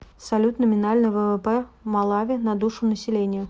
салют номинальный ввп малави на душу населения